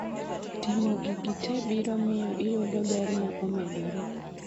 Timo gi gite biro miyo iyudo ber ma omedore